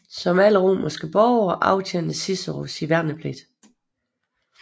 Som alle romerske borgere aftjente Cicero sin værnepligt